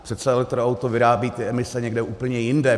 Přece elektroauto vyrábí ty emise někde úplně jinde.